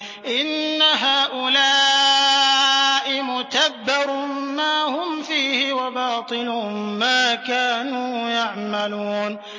إِنَّ هَٰؤُلَاءِ مُتَبَّرٌ مَّا هُمْ فِيهِ وَبَاطِلٌ مَّا كَانُوا يَعْمَلُونَ